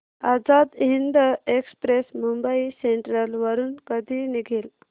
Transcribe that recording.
Azad Hind Express Mumbai Central वरून कधी निघेल